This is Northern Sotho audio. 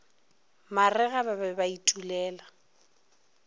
marega ba be ba itulela